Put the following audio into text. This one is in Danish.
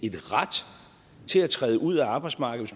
en ret til at træde ud af arbejdsmarkedet